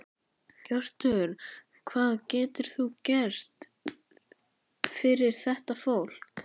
Hjörtur: Hvað getur þú gert fyrir þetta fólk?